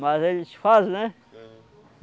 Mas eles fazem, né? Aham.